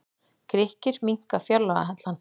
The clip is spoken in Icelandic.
Grikkir minnka fjárlagahallann